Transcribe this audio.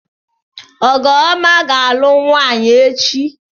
Ọgụọma ga-alụ nwaanyị echi.